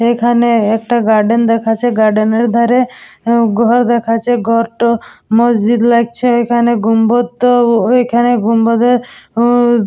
এখানে একটা গার্ডেন দেখাচ্ছে। গার্ডেন -এর ধারে উম ঘর দেখাচ্ছে। ঘরটা মসজিদ লাগছে এখানে গম্বজ তো ঐখানে গম্বজ এ ।